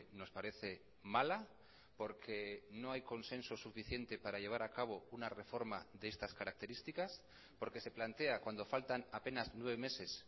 nos parece mala porque no hay consenso suficiente para llevar a cabo una reforma de estas características porque se plantea cuando faltan apenas nueve meses